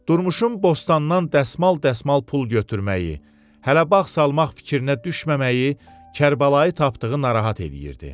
Durmuşun bostandan dəsmal-dəsmal pul gətirməyi, hələ bağ salmaq fikrinə düşməməyi Kərbəlayı tapdığı narahat eləyirdi.